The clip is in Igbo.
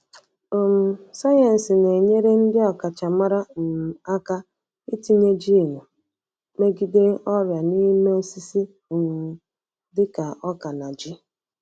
um Sayensị na-enyere ndị ọkachamara um aka itinye jiini megide ọrịa n'ime osisi um dị ka oka na ji.